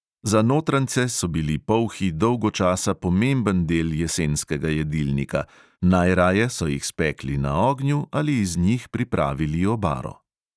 Za notranjce so bili polhi dolgo časa pomemben del jesenskega jedilnika, najraje so jih spekli na ognju ali iz njih pripravili obaro.